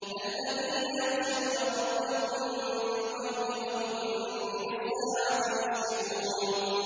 الَّذِينَ يَخْشَوْنَ رَبَّهُم بِالْغَيْبِ وَهُم مِّنَ السَّاعَةِ مُشْفِقُونَ